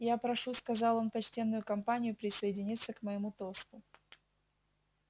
я прошу сказал он почтенную компанию присоединиться к моему тосту